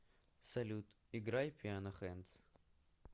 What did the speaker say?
салют играй пиано хэндс